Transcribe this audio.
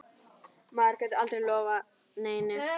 Maður getur aldrei lofað neinu.